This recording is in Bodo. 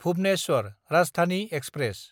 भुबनेस्वर राजधानि एक्सप्रेस